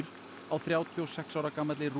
á þrjátíu og sex ára gamalli